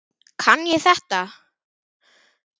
Kann ég þetta?